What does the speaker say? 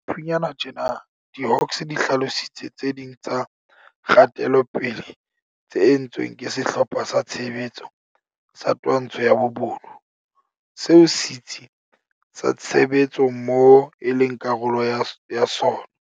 Haufinyane tjena, diHawks di hlalositse tse ding tsa kgatelopele tse entsweng ke Sehlopha sa Tshebetso sa Twantsho ya Bobodu, seo Setsi sa Tshebetsommoho e leng karolo ya sona.